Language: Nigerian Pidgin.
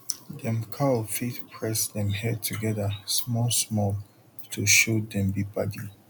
dem cow fit press dem head together small small to show dem be padi